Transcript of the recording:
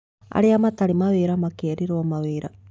Arĩa matarĩ mawĩra makerĩrwo mawĩra